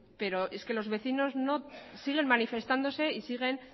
pero es que los vecinos no siguen manifestándose y siguen